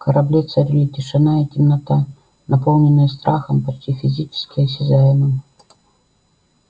в корабле царили тишина и темнота наполненные страхом почти физически осязаемым